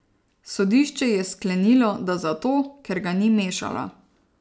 Sodišče je sklenilo, da zato, ker ga ni mešala.